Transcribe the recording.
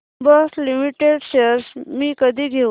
Bosch limited shares मी कधी घेऊ